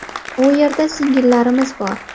U yerda sigirlarimiz bor.